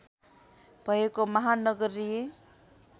भएको महानगरीय